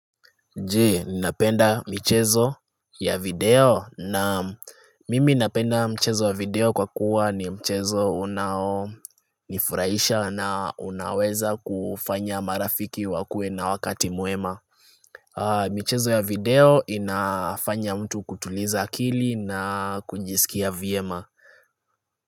Je, ninapenda michezo ya video? Naam mimi ninapenda mchezo ya video kwakuwa ni mchezo unaonifurahisha na unaweza kufanya marafiki wakue na wakati mwema michezo ya video inafanya mtu kutuliza akili na kujisikia vyema.